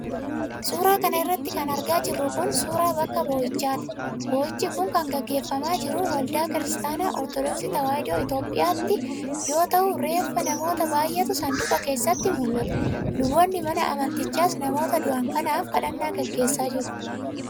Suura kana irratti kan argaa jirru kun, suura bakka bo'ichaati. Bo'ichi kun kan gaggeeffamaa jiru waldaa Kiristaanaa Ortodooksii Tawaahidoo Itoophiyaatti yoo ta'u, reeffa namoota baay'eetu saanduqa keessatti mul'ata. Luboonni mana amantichaas namoota du'an kanaaf kadhannaa gaggeessaa jiru.